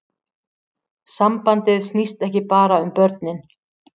Sambandið snýst ekki bara um börnin